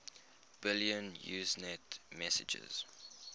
billion usenet messages